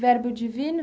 Verbo Divino?